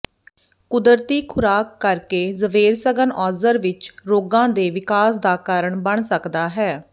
ਕੁਦਰਤੀ ਖੁਰਾਕ ਕਰਕੇ ਜ਼ਵੇਰਸਗਨਔਜ਼ਰ ਵਿਚ ਰੋਗਾਂ ਦੇ ਵਿਕਾਸ ਦਾ ਕਾਰਨ ਬਣ ਸਕਦਾ ਹੈ